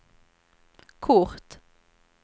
kort